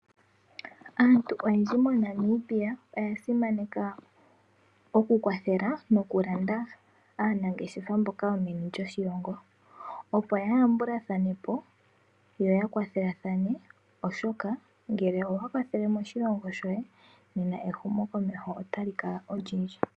Aantu oyendji mo Namibia oya simaneka okukwathela nokulanda aanangeshefa mboka yomeni lyoshilongo, opo ya yambulathane po yo ya kwathelathane oshoka ngele owa kwathele moshilongo shoye nena ehumokomeho otali kala olindji.